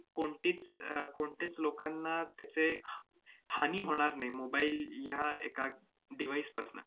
कोणतीच~ अह कोणत्याच लोकांना त्याचे हानी होणार नाही mobile या एका device पासनं.